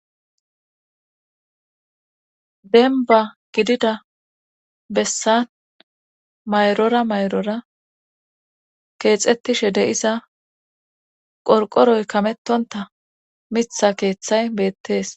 denba gidida bessan mayrora mayrora keexettishe de'iza qorqoroy kamettonta mitha keeththay beettees